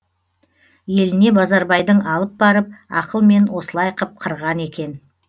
еліне базарбайдың алып барып ақылмен осылай қып қырған екен